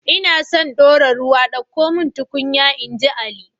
Ina so na dora ruwa ɗauko mun tukunya, inji ali